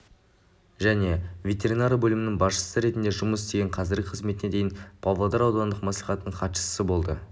және ветеринария бөлімінің басшысы ретінде жұмыс істеген қазіргі қызметіне дейін павлодар аудандық мәслихатының хатшысы болды